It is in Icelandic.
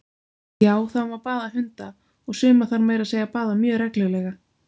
Já, það má baða hunda, og suma þarf meira að segja að baða mjög reglulega!